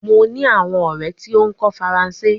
Mo ni awon ore ti o ko faranse